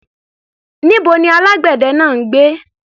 Níbo ni alágbẹ̀dẹ náà ń gbé?